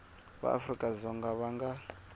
va afrika dzonga va nga